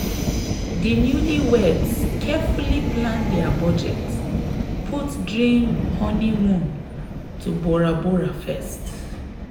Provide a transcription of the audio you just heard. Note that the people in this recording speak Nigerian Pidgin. di newlyweds carefully plan dia budget put dream honeymoon to bora bora first.